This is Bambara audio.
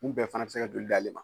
Kun bɛɛ fana be se ka joli d'ale ma.